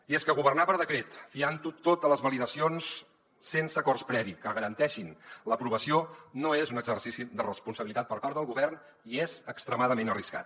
i és que governar per decret fiantho tot a les validacions sense acords previs que garanteixin l’aprovació no és un exercici de responsabilitat per part del govern i és extremadament arriscat